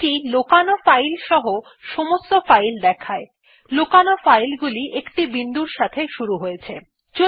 এটি লোকানো ফাইল সহ সমস্ত ফাইল দেখায় লোকানো ফাইল গুলি একটি বিন্দুর সাথে শুরু হয়েছে